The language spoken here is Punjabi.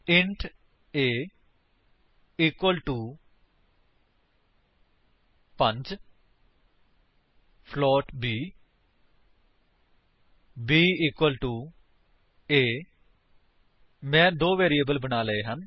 int a equal to 5 float b b equal to a ਮੈਂ ਦੋ ਵੈਰਿਏਬਲ ਬਣਾ ਲਈਆਂ ਹਨ